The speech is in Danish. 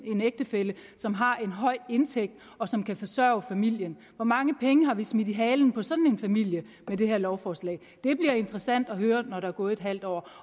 en ægtefælle som har en høj indtægt og som kan forsørge familien hvor mange penge har vi smidt i halen på sådan en familie med det her lovforslag det bliver interessant at høre når der er gået halvt år